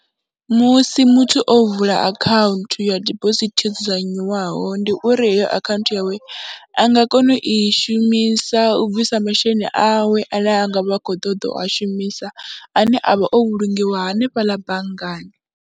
Musi muthu o vula akhaunthu ya dibosithi yo dzudzanywaho ndi uri heyo akhaunthu yawe a nga kona u i shumisa u bvisa masheleni awe ane a nga vha khou ṱoḓa u a shumisa ane a vha o vhulungiwa hanefhaḽa banngani.